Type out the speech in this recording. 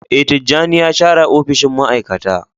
Ee, Tijjani ya share opishin ma'aikata.